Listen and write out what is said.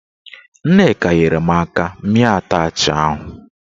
Nneka nyere m aka mịa atachị ahụ.